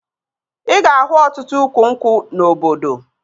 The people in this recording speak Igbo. Ị ga-ahụ ọtụtụ ukwu nkwụ na obodo